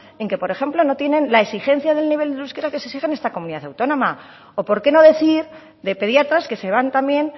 en el que por ejemplo no tienen la exigencia del nivel del euskera que se exige en esta comunidad autónoma o por qué no decir de pediatras que se van también